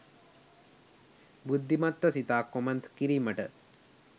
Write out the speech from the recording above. බුද්ධිමත්ව සිතා කොමන්ත් කිරීමට